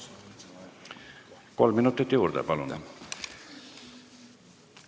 Kolm minutit juurde, palun!